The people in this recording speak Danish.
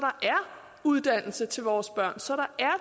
uddannelse til vores børn så der er